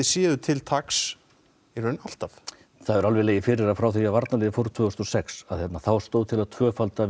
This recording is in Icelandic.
séuð til taks í raun alltaf það hefur alveg legið fyrir að frá því að varnarliðið fór tvö þúsund og sex þá stóð til að tvöfalda